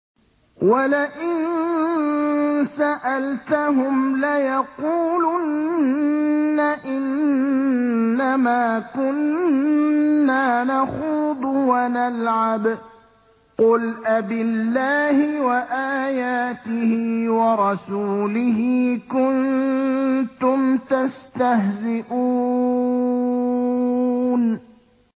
وَلَئِن سَأَلْتَهُمْ لَيَقُولُنَّ إِنَّمَا كُنَّا نَخُوضُ وَنَلْعَبُ ۚ قُلْ أَبِاللَّهِ وَآيَاتِهِ وَرَسُولِهِ كُنتُمْ تَسْتَهْزِئُونَ